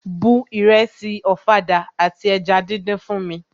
Bu ìrẹsì ọ̀fadà àti eja díndín fún mi!